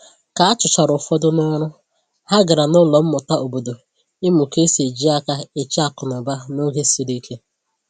Ka a chụchara ụfọdụ n'ọrụ, ha gàrà n’ụlọ mmụta obodo ịmụ ka esi eji aka e che akụnụba n’oge siri ike